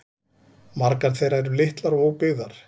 Margar þeirra eru litlar og óbyggðar